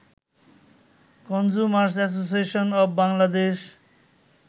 consumers Association of Bangladesh